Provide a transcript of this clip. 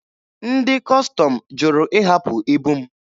Ndị Kọstọm jụrụ ịhapụ ibu m.